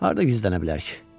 Harda gizlənə bilər ki?